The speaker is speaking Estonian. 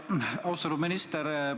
Austatud minister!